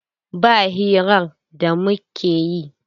Ba hirar da muke yi.